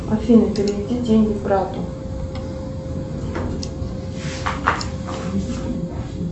афина переведи деньги брату